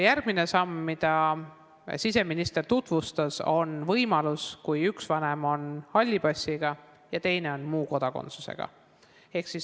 Järgmine samm, mida siseminister tutvustas, hõlmab neid juhte, kui üks vanem on halli passiga ja teine on muu kodakondsusega.